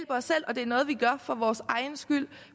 os selv og det er noget vi gør for vores egen skyld